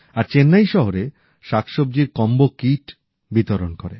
আর চেন্নাই শহরে শাকসব্জির combo kit বিতরণ করে